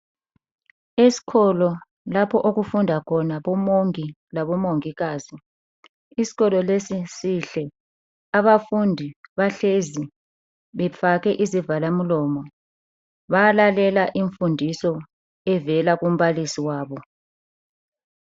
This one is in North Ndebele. Esikolo lapho okufunda khona oMongi laboMongikazi. Isikolo lesi sihle, abafundi bahlezi befake izivala mlomo. Bayalalela imfundiso evela kumbalisi wabo.